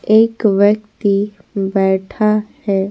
एक व्यक्ति बैठा है।